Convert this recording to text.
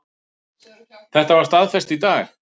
Þetta var staðfest í dag